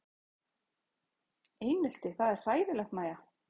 Einelti það er hræðilegt Mæja?